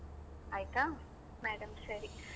ಆಯ್ತಾ?